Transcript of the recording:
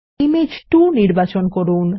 image 2 নির্বাচন করুন